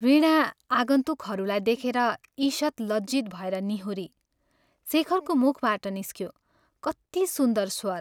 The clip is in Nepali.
वीणा आगन्तुकहरूलाई देखेर ईषत् लज्जित भएर निहुरी शेखरको मुखबाट निस्क्यो " कति सुन्दर स्वर?